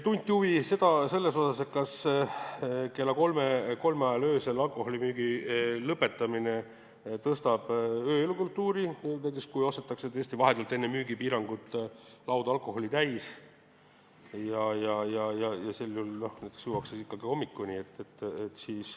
Tunti huvi selle vastu, kas kella kolme ajal öösel alkoholimüügi lõpetamine parandab ööelukultuuri, kui tõesti vahetult enne müügipiirangu algust ostetakse laud alkoholi täis ja sel juhul juuakse ikkagi hommikuni.